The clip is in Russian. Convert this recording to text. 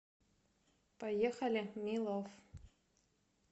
поехали милов